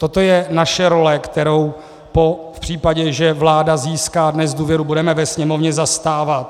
Toto je naše role, kterou v případě, že vláda získá dnes důvěru, budeme ve Sněmovně zastávat.